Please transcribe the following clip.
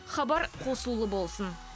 хабар қосулы болсын